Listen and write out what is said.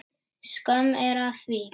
Skömm er að því.